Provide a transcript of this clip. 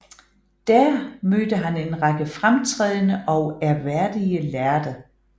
Der mødte han en række fremtrædende og ærværdige lærde